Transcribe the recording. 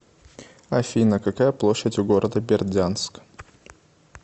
афина какая площадь у города бердянск